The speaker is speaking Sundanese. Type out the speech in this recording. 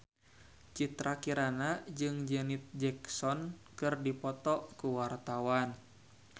Citra Kirana jeung Janet Jackson keur dipoto ku wartawan